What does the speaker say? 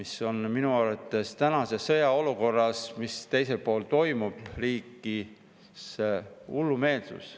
See on minu arvates tänases sõjaolukorras, mis teisel pool toimub, hullumeelsus.